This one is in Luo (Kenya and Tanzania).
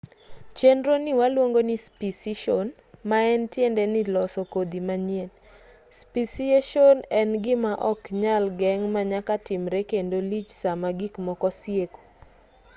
chenroni waluongo nii speciation maen tiende ni loso kodhi manyien speciation en gima ok nyal geng' manyaka timre kendo lich sama gik moko sieko